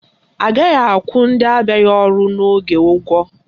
Agaghị akwụ ndị abịaghị ọrụ n'oge ụgwọ